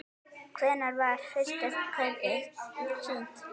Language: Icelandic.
Hvenær var fyrsta skaupið sýnt?